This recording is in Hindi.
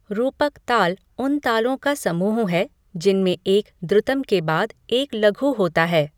रूपक ताल उन तालों का समूह है जिनमें एक द्रुतम् के बाद एक लघु होता है।